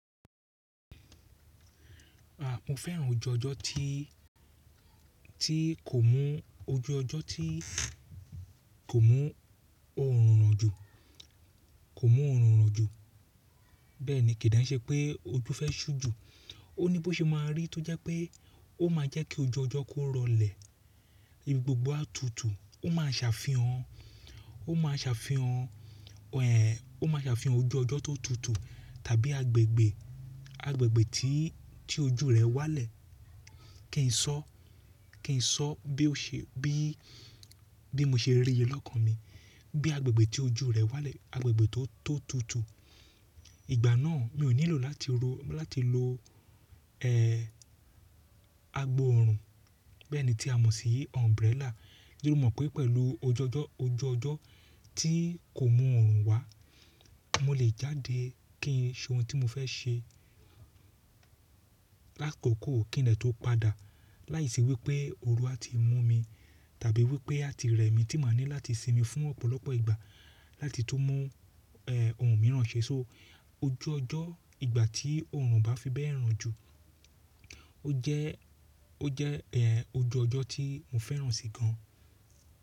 Àpò fẹ́ràn ojú ọjọ́ tí, tí kò mú ojú ọjọ́ tí kò mú oòrùn ràn ju, kò mú oòrùn ràn ju. Bẹ́ẹ̀ni, kì í den ṣẹ́ pé ojú fẹ́ ṣú ju. Ó ní bó ṣe máa rí tó jẹ́ pé ó máa jẹ́ kí ojú ọjọ́ kó rọlẹ̀. Ibi gbogbo á tutù. Ó máa ṣàfihàn, ó máa ṣàfihàn, ẹ̀ ó máa ṣàfihàn ojú ọjọ́ tó tutù tàbí agbègbè, agbègbè tí, tí ojú rẹ̀ wá lẹ̀. Kí n sọ, kí n sọ bí ó se, bí, bí mo se rí i lẹ́lọ́kàn mi. Bí agbègbè tí ojú rẹ̀ wá lẹ̀, agbègbè tó, tó tutù. Ìgbà náà mi ò nílò láti ro, láti lo, ẹ́ agbòòrùn. Bẹ́ẹ̀ni tí a mọ̀ sí umbrella. Ti mọ̀ pé pẹ̀lú ojú ọjọ́, ojú ọjọ́ tí kò mú oòrùn wá, mo lè jáde kí n ṣe ohun tí mo fẹ́ ṣe lákokò kí n dè tó padà. Láìsí wípé oru á ti mú mi tàbí wípé á ti rẹ̀ mí tí màá ní láti sinmi fún ọ̀pọ̀lọpọ̀ ìgbà láti tó mú, ẹ́ oòrùn mìíràn ṣe. So ojú ọjọ́ ìgbà tí oòrùn bá fi bẹ́ẹ̀ ràn ju, ó jẹ́, ó jẹ́ ẹ́ ojú ọjọ́ tí mo fẹ́ràn sì gan.